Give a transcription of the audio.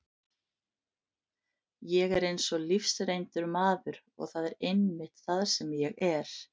Ég er eins og lífsreyndur maður og það er einmitt það sem ég er.